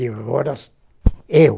De horas, eu.